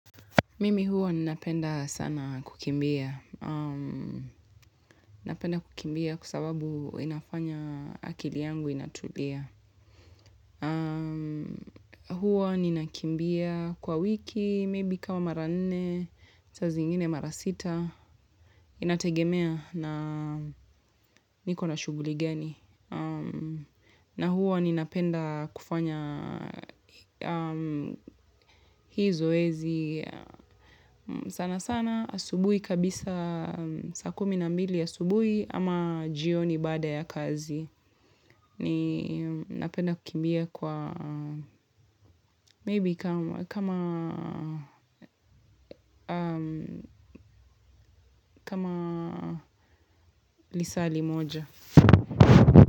Mimi huwa ninapenda sana kukimbia. Napenda kukimbia kwa sababu inafanya akili yangu inatulia. Huwa ninakimbia kwa wiki, maybe kama mara nne, saa zingine mara sita. Inategemea na niko na shughuli gani. Na huwa ninapenda kufanya hii zoezi. Sanasana asubuhi kabisa saa kumi na mbili asubuhi ama jioni baada ya kazi ni napenda kukimbia kwa maybe kama lisaa limoja.